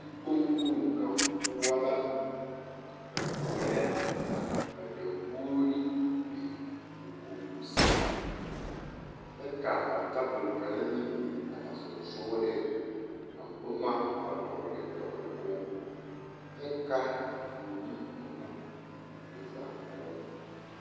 Dikpoŋ kpoŋ kaŋ poɔ la a veɛlɛ ka dakogiri a biŋ, dakogi kusime, kyɛ ka a tabol kaŋ meŋ biŋ a ba sonsogeleŋ ka boma a dɔgele dɔgele o kyɛ ka vuuni a uri a zie zaa kpɛlɛŋ.